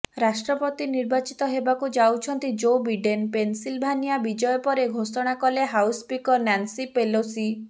ରାଷ୍ଟ୍ରପତି ନିର୍ବାଚିତ ହେବାକୁ ଯାଉଛନ୍ତି ଜୋ ବିଡେନ୍ ପେନସିଲଭାନିଆ ବିଜୟ ପରେ ଘୋଷଣା କଲେ ହାଉସ ସ୍ପିକର ନାନ୍ସି ପେଲୋସି